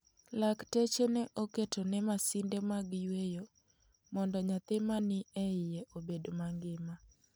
Laktache ne oketone masinde mag yweyo mondo nyathi ma ni e iye obed mangima.